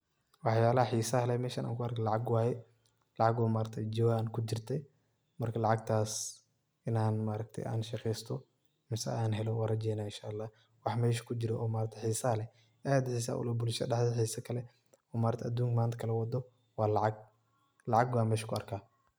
Wax yala xiisa lehan meshan kuarko, lacagwaye, lacag oo jawan kujurti marka lacag taas inan shaqeyso mase an helo wan rajeynaya inshallah waxa mesha kujura oo xiisa leh, aad xiisa uleh bulshadha daxdedha xiisa kaleeh oo adunka manta kalawado wa lacag, lacag ban mesha kuarka.